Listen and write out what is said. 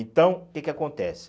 Então, o que que acontece?